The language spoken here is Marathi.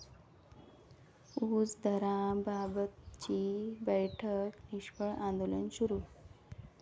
ऊस दराबाबतची बैठक निष्फळ, आंदोलन सुरू